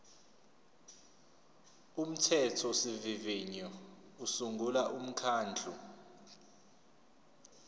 umthethosivivinyo usungula umkhandlu